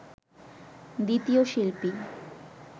দ্বিতীয় শিল্পী